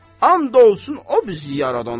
And olsun o bizi yaradana.